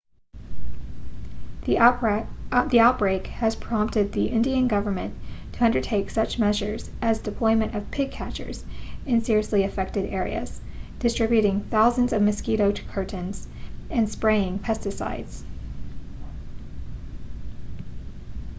the outbreak has prompted the indian government to undertake such measures as deployment of pig catchers in seriously affected areas distributing thousands of mosquito curtains and spraying pesticides